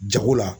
Jago la